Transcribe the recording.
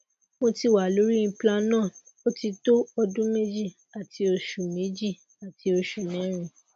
moti wa lori implanon otito odun meji ati osu meji ati osu merin